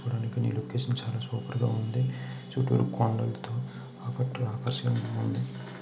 చూడండి ఈ లొకేషన్ చాలా సూపర్ గా ఉంది చుట్టూ కొండలతో ఆకట్టుగా ఆకర్షణీయంగా ఉంది.